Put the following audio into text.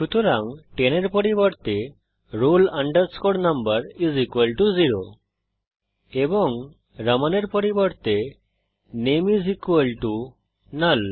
সুতরাং 10 এর পরিবর্তে roll number 0 এবং রামান এর পরিবর্তে নামে নাল